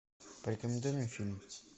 порекомендуй мне фильм